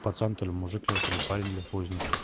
пацан то ли мужик то ли парень или хуй его знает